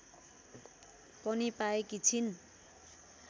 पनि पाएकी छिन्